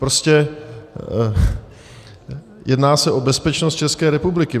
Prostě jedná se o bezpečnost České republiky.